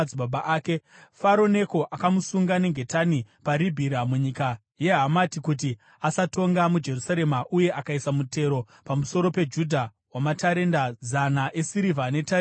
Faro Neko akamusunga nengetani paRibhira munyika yeHamati kuti asatonga muJerusarema, uye akaisa mutero pamusoro peJudha wamatarenda zana esirivha netarenda regoridhe.